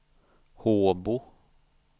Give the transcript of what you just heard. Håbo